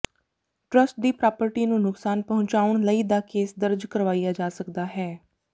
trust ਦੀ property ਨੂੰ ਨੁਕਸਾਨ ਪਹੁੰਚਾਉਣ ਲਈ ਦਾ ਕੇਸ ਦਰਜ ਕਰਵਾਇਆ ਜਾ ਸਕਦਾ ਹੈ